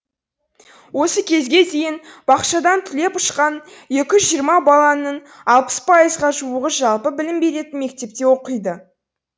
осы кезге дейін бақшадан түлеп ұшқан екі жүз жиырма баланың алпыс пайызға жуығы жалпы білім беретін мектепте оқиды